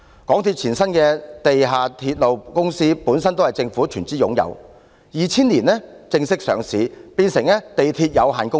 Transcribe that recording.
港鐵公司前身的地下鐵路公司本來也是政府全資擁有，在2000年正式上市，變成地鐵有限公司。